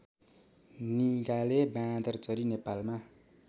निगाले बाँदरचरी नेपालमा